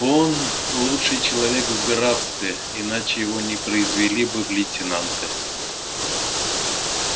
он лучший человек в графстве иначе его не произвели бы в лейтенанты